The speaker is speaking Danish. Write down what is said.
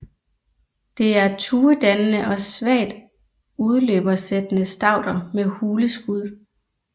Det er tuedannende og svagt udløbersættende stauder med hule skud